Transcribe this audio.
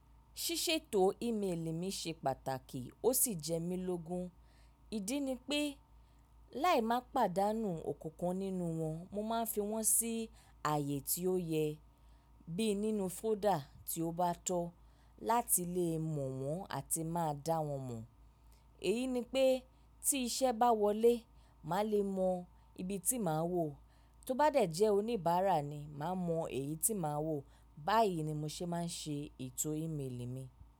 Ṣíṣètò ímeèlì mi ṣe pàtàkì ó sì jẹ́ mí lógun. Ìdí ni pé láì má pàdánù ọ̀kankan nínú wọn, mo máa ń fi wọ́n sí ààyè tí ó yẹ, bí nínú fóldà tí ó bá tọ́ láti lè mọ̀ wọ́n àti máa dá wọ́n mọ̀. Èyi ni pé tí iṣẹ́ bá wọlé, màá lè mọ ibi tí màá wò. Tó bá dẹ̀ jẹ́ oníbàárà ni, màá mọ èyí tí màá wò. Báyìí ni mo ṣe máa ń ṣe ètò ímeèlì mi.